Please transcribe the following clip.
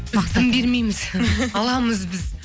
біз дым бермейміз аламыз біз